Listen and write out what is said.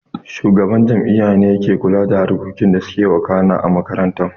Shugaban jami'a ne yake kula da harkokin da suke wakana a makaranta